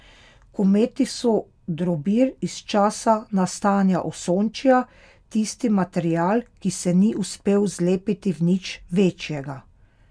Kometi so drobir iz časa nastajanja Osončja, tisti material, ki se ni uspel zlepiti v nič večjega.